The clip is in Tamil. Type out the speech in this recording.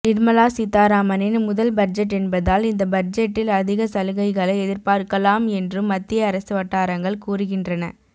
நிர்மலா சீதாராமனின் முதல் பட்ஜெட் என்பதால் இந்த பட்ஜெட்டில் அதிக சலுகைகளை எதிர்பார்க்கலாம் என்றும் மத்திய அரசு வட்டாரங்கள் கூறுகின்றன